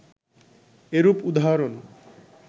এরূপ উদাহরণ